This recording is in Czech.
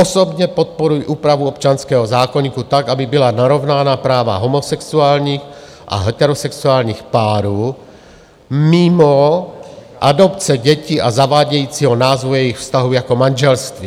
Osobně podporuji úpravu občanského zákoníku tak, aby byla narovnána práva homosexuálních a heterosexuálních párů, mimo adopce dětí a zavádějícího názvu jejich vztahu jako manželství.